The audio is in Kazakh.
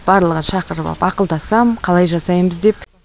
барлығын шақырып ап ақылдасам қалай жасаймыз деп